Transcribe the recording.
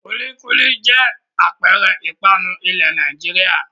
Kúlíkúlí jẹ́ àpẹẹrẹ ìpanu ilẹ̀ Nàìjíríà.